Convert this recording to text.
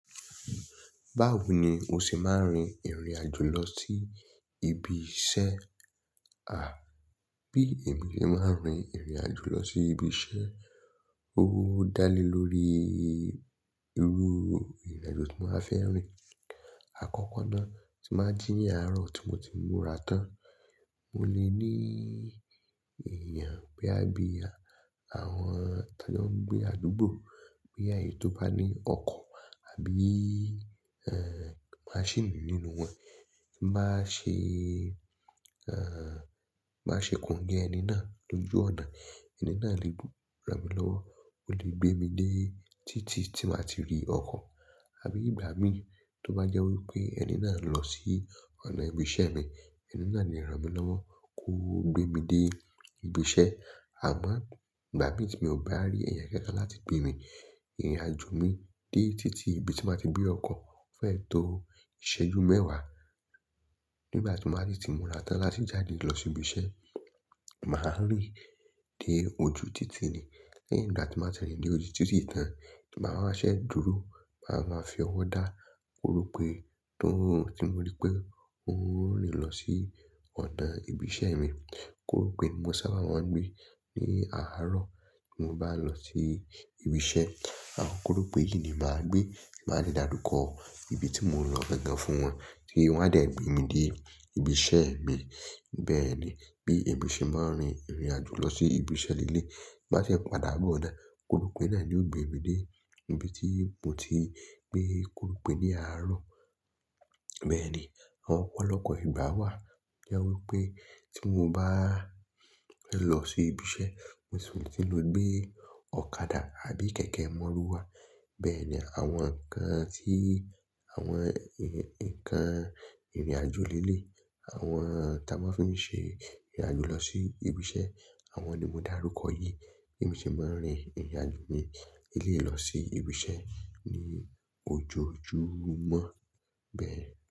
Báwo ni o ṣe máa ń rin ìrìn àjò lọ sí ibi iṣẹ́? À, bí èmi ṣe máa ń rin ìrìn àjò lọ sí ibi iṣẹ́, ó dá lé lórí irú ìrìn àjò tí mo máa fẹ́ rin. Àkọ́kọ́ náà, tí n bá jí ní àrọ̀ tí mo ti múra tán. Mo lè ní èèyàn bóyá bí àwọn tá jọ ń gbé àdúgbò, bóyá èyí tó bá ní ọkọ̀ àbí, maṣíìnì nínú wọn. Bá ṣe, bá ṣe kongé ẹni náà lójú ọ̀nà, ẹni náà lè bu ràn mí lọ́wọ́, ó lè gbé mi dé títí tí màá ti rí ọkọ̀. Àbí ìgbà mí tí ó bá jẹ́ wí pé ẹni náà ń lọ sí ọ̀nà ibi iṣẹ́ mi, ẹni náà lè rán mi lọ́wọ́ kó gbé mi dé ibi iṣẹ́. À máa, ìgbà mí tí mi ò bá rí ẹ̀yàn kankan láti gbé mi, ìrìn àjò mi dé títí ibi tí màá ti gbé ọkọ̀ fẹ́ tó ìṣẹ́jú mẹ́wàá. Nígbà tí mo bá sì ti múra tán láti jáde lọ sí ibi iṣẹ́, màá rìn dé ojú títì ni. Lẹ́yìn ìgbà tí n bá ti rìn dé ojú títì tán, tí bá wá ṣe dúró, màá máa fi ọwọ́ dá korope tó tí mo rí pé òun rinlo sí ọ̀nà ibi iṣẹ́ mi. Korope ní mo sábà máa ń gbé ní àárọ̀ tí mo bá lọ sí ibi iṣẹ́. Àwọn korope yìí ni màá gbé, màá dè dárúkọ ibi tí mo nlọ gangan fún wọn tí wọ́n a dá gbé mi dé ibi iṣẹ́ mi. Bẹ́ẹ̀ ni bí èmi ṣe máa ń rin ìrìn àjò lọ sí ibi iṣẹ́ lẹ́lẹ́yì. Bá ṣe pàdà bó ọ̀nà, korope náà ni yóò gbé mi ní ibi tí mo ti gbé korope ní àárọ̀. Bẹ́ẹ̀ ni àwọn ọ̀pọ̀lọpọ̀ ìgbà wà tí ó jẹ́ wí pé tí mo bá lọ sí ibi iṣẹ́, mo sì ti lò gbé ọ̀kadà àbí kẹ̀kẹ́ mọ́ruwa. Bẹ́ẹ̀ ni àwọn nǹkan tí àwọn, ǹkan ìrìn àjò lẹ́lẹ́yì àwọn táa máa fi ń ṣe ìrìn àjò lọ sí ibi iṣẹ́, àwọn ni mo dá rúkọ yìí. Bí èmi ṣe máa ń rin ìrìn àjò mi lẹ́lẹ́yì lọ sí ibi iṣẹ́ ní ojoojúmọ́. Bẹ́ẹ̀.